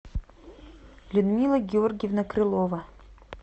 людмила георгиевна крылова